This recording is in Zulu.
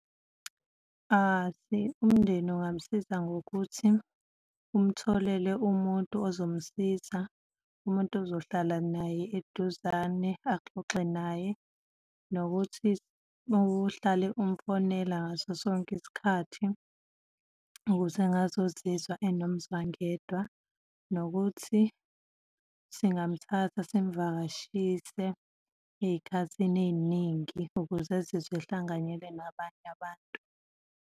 Umndeni ungamsiza ngokuthi umtholele umuntu ozomsiza, umuntu ozohlala naye eduzane, axoxe naye nokuthi uhlale umfonela ngaso sonke isikhathi ukuze angazozizwa enomzwangedwa, nokuthi singamthatha simvakashise ey'khathini ey'ningi ukuze ezizwe ehlanganyele nabanye abantu.